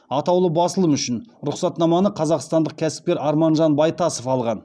атаулы басылым үшін рұқсатнаманы қазақстандық кәсіпкер арманжан байтасов алған